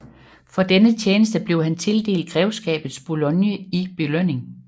For denne tjeneste blev han tildelt Grevskabet Boulogne i belønning